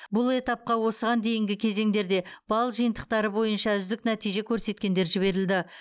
бұл этапқа осыған дейінгі кезеңдерде балл жиынтықтары бойынша үздік нәтиже көрсеткендер жіберілді